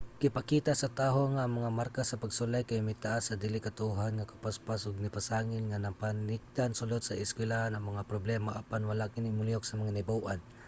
gipakita sa taho nga ang mga marka sa pagsulay kay mitaas sa dili katuohan nga kapaspas ug nipasangil nga namakatikdan sulod sa eskuylahan ang mga problema apan wala kini molihok sa mga nahibaw-an